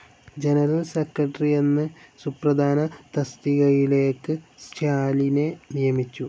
General secretary എന്ന് സുപ്രധാന തസ്തികയിലേക്ക്ക് സ്റ്റാലിനെ നിയമിച്ചു.